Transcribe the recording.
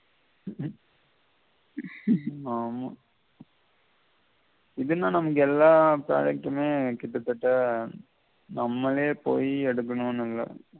ஆமா இதுன்னா நமக்கு எல்லா product டுமே கிட்ட தட்ட நம்மளே பொய் எடுக்கனும்னு இல்ல